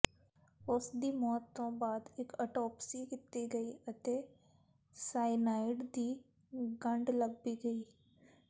ਉਸਦੀ ਮੌਤ ਤੋਂ ਬਾਅਦ ਇੱਕ ਆਟੋਪਸੀ ਕੀਤੀ ਗਈ ਅਤੇ ਸਾਇਨਾਈਡ ਦੀ ਗੰਢ ਲੱਭੀ ਗਈ